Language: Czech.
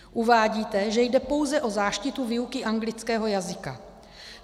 Uvádíte, že jde pouze o záštitu výuky anglického jazyka.